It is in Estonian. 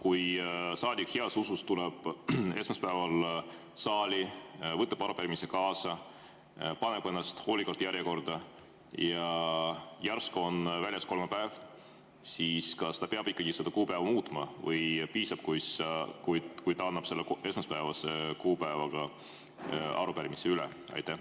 Kui saadik tuleb heas usus esmaspäeval saali, võtab arupärimise kaasa, paneb ennast hoolikalt järjekorda ja järsku on väljas kolmapäev, siis kas ta peab ikkagi seda kuupäeva muutma või piisab, kui ta annab esmaspäevase kuupäevaga arupärimise üle?